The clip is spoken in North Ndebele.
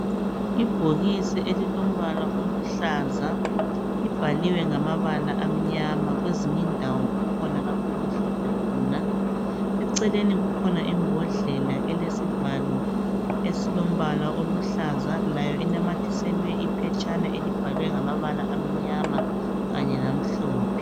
Ibhokisi elilombala oluhlaza libhaliwe ngamabala amnyama kwezinye indawo kukhona lapho okumhlophe khona. Eceleni kukhona imbodlela elesivalo esilombala oluhlaza layo inamathiselwe iphetshana elibhalwe ngamabala amnyama kanye lamhlophe.